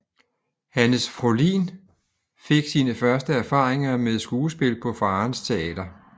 Hannes Fohlin fik sine første erfaringer med skuespil på faderens teater